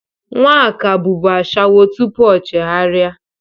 Nwaka bụbụ ashawo tupu o chegharị.